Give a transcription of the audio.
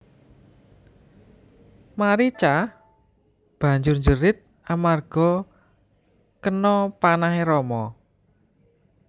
Marica banjur njerit amarga kena panahe Rama